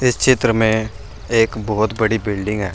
इस चित्र में एक बहुत बड़ी बिल्डिंग है।